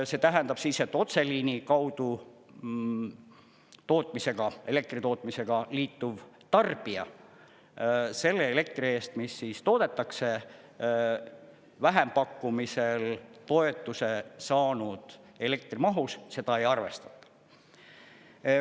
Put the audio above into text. See tähendab siis, et otseliini kaudu tootmisega, elektri tootmisega liituv tarbija selle elektri eest, mis toodetakse vähempakkumisel toetuse saanud elektrimahus, seda ei arvestata.